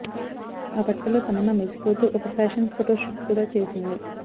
ఆ బట్టల్లో తమన్నా మెరిసిపోతూ ఒక ఫ్యాషన్ ఫోటో షూట్ కూడా చేసింది